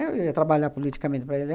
Eu ia trabalhar politicamente para ele.